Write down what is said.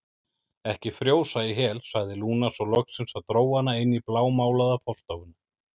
Ekki frjósa í hel, sagði Lúna svo loksins og dró hana inn í blámálaða forstofuna.